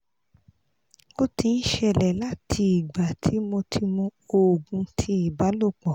o ti n ṣẹlẹ la ti igba ti mo ti mu oogun ti ibalopo